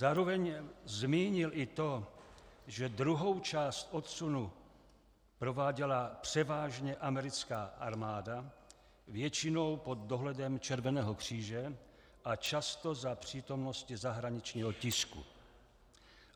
Zároveň zmínil i to, že druhou část odsunu prováděla převážně americká armáda, většinou pod dohledem Červeného kříže a často za přítomnosti zahraničního tisku.